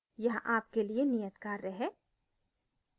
यहाँ आपके लिए नियत कार्य है